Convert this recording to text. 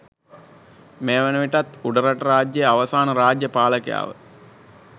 මේ වන විටත් උඩරට රාජ්‍යයේ අවසාන රාජ්‍ය පාලකයා ව